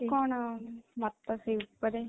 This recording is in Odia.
କଣ ମତ ସେଇ ଉପରେ?